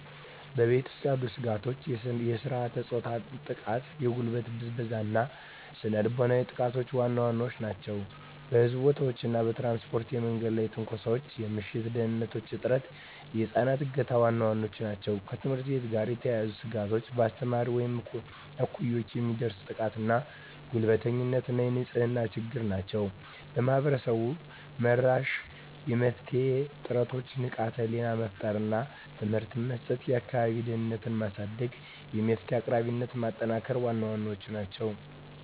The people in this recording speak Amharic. በቤት ውስጥ ያሉ ስጋቶች የሥርዓተ-ፆታ ጥቃ፣ የጉልበት ብዝበዛ እና ስነ ልቦናዊ ጥቃቶች ዋና ዋናዎቹ ናቸው። በሕዝብ ቦታዎች እና በትራንስፖርት የመንገድ ላይ ትንኮሳ፣ የምሽት ደህንንነት እጥረት፣ የህፃናት እገታ ዋና ዋናዎቹ ናቸው። ከትምህርት ቤት ጋር የተያያዙ ስጋቶች በአስተማሪዎች ወይም እኩዮች የሚደርስ ጥቃትና ጉልበተኝነት እና የንጽህና ችግሮች ናቸው። ማህበረሰብ-መራሽ የመፍትሄ ጥረቶች ንቃተ ህሊና መፍጠር እና ትምህርት መስጠት፣ የአካባቢ ደህንነትን ማሳደግ፣ የመፍትሄ አቅራቢነትን ማጠናከር ዋና ዋናዎቹ ናቸው።